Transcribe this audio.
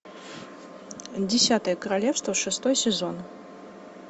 десятое королевство шестой сезон